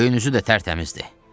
Göyün üzü də tərtəmizdir.